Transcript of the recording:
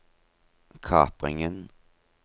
kapringen